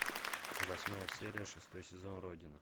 восьмая серия шестой сезон родина